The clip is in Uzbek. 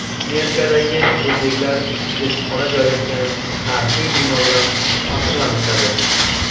Amerikadagi o‘zbeklar elchixona joylashgan tarixiy bino bilan faxrlanishadi.